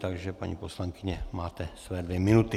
Takže paní poslankyně máte svoje dvě minuty.